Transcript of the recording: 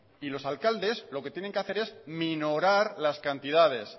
y los alcaldes lo que tiene que hacer es minorar las cantidades